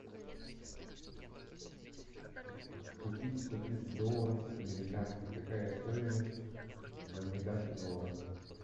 купить сто тридцать долларов американских какая стоимость в американских долларах